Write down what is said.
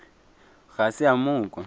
ga se a mo kwa